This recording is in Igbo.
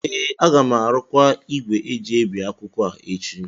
ee, a ga m arụkwa igwe eji ebi akwụkwọ a echi